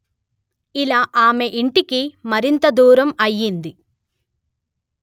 ఇలా ఆమె ఇంటికి మరింత దూరం అయింది